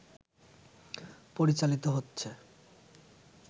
পরিচালিত হচ্ছে